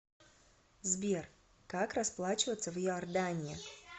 сбер как расплачиваться в иордании